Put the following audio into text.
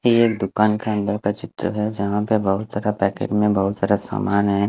ये एक दुकान के अंदर का चित्र है झा बहुत सारे पेकेट में बहुत सारा सामान है।